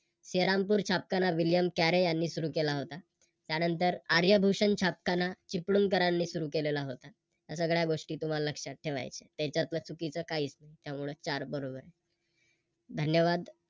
श्रीरामपूर छापखाना William Carey यांनी सुरू केला होता. त्यानंतर आर्यभूषण छापखाना चिपळूणकरांनी सुरू केलेला होता. या सगळ्या गोष्टी तुम्हाला लक्षात ठेवायच्या आहे. त्यातल चुकीचं काहीच नाही त्यामुळं चार बरोबर आहे. धन्यवाद